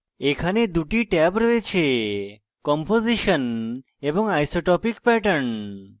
এখানে দুটি ট্যাব রয়েছেcomposition এবং isotopic pattern